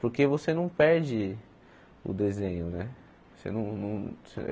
Porque você não perde o desenho, né? você não não